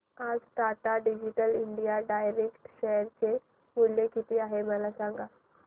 आज Tata digital India direct share चे मूल्य किती आहे मला सांगा